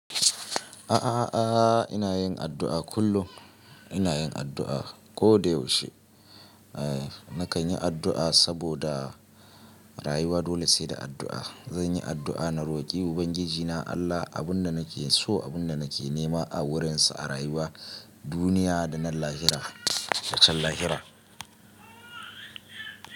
A'a, a'a, a'a ina yin addu'a kullum ina yin addu'a ko da yaushe. Eh nakan yi addu'a saboda rayuwa dole sai da addu'a. Zan yi addu'a na roƙi Ubangijina Allah abin da nake so, abin da nake nema a wurinsa, a rayuwa, duniya da nan lahira, da can lahira.